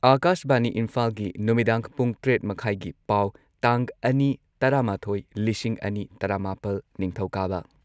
ꯑꯥꯀꯥꯁꯕꯥꯅꯤ ꯏꯝꯐꯥꯜꯒꯤ ꯅꯨꯃꯤꯗꯥꯡ ꯄꯨꯡ ꯇꯔꯦꯠ ꯃꯈꯥꯢꯒꯤ ꯄꯥꯎ ꯇꯥꯡ ꯑꯅꯤ ꯇꯔꯥꯃꯥꯊꯣꯏ ꯂꯤꯁꯤꯡ ꯑꯅꯤ ꯇꯔꯥꯃꯥꯄꯜ, ꯅꯤꯡꯊꯧꯀꯥꯕ